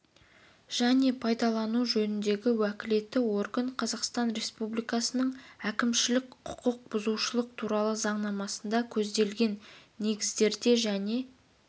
және пайдалану жөніндегі уәкілетті орган қазақстан республикасының әкімшілік құқық бұзушылық туралы заңнамасында көзделген негіздерде және